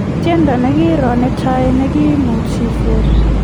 tiendo nigiro ne tai ne kimuch isir